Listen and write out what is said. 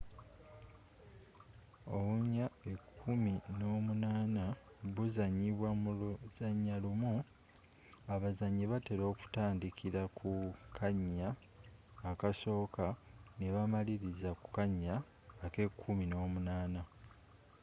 ounya ekumi n'omunaana buzanyiba mu luzannya lumu abazanyi batela okutandikila ku kannya akasooka nebamaliliza ku kanya akekumi n'omunaana